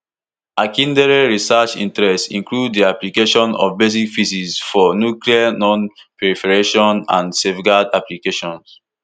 akindele research interests include di application of basic physics for nuclear nonproliferation and safeguards applications